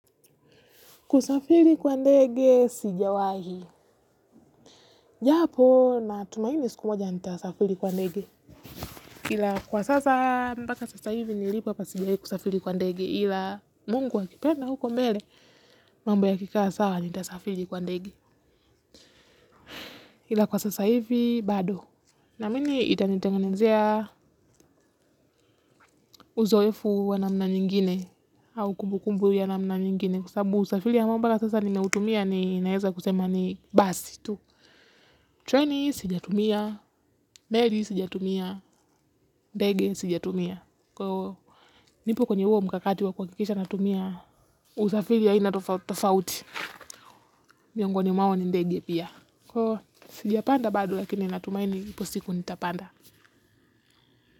Kusafiri kwa ndege sijawahi. Japo natumaini siku moja nitasafiri kwa ndege. Kwa sasa mpaka sasa hivi nilipo hapa sijawahi kusafiri kwa ndege ila mungu akipenda huko mbele mambo yakikaa sawa nitasafiri kwa ndege. Kwa sasa hivi bado. Naamini itanitengenezea uzoefu wa namna nyingine au kumbu kumbu ya namna nyingine kwa sababu usafiri ambao mpaka sasa nimeutumia ninaeza kusema ni basi tu. Treni sijatumia, meli sijatumia, ndege sijatumia. Kwa hiyo nipo kwenye huo mkakati wa kuhakikisha natumia usafiri aina tofauti tofauti miongoni mwao ni ndege pia. Kwa hio sijapanda bado lakini natumaini ipo siku nitapanda.